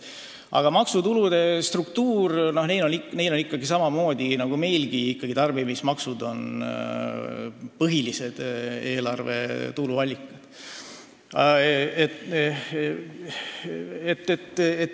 Aga maksutulude struktuur neil on samasugune nagu meilgi, just tarbimismaksud on põhilised eelarve tuluallikad.